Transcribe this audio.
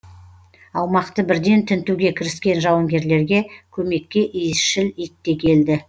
аумақты бірден тінтуге кіріскен жауынгерлерге көмекке иісшіл ит те келді